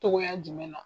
Togoya jumɛn na